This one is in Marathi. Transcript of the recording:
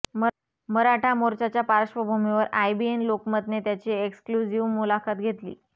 मराठा मोर्चाच्या पार्श्वभूमीवर आयबीएन लोकमतने त्यांची एक्सक्लुझिव्ह मुलाखत घेतली